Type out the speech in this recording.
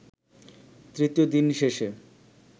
তৃতীয় দিন শেষে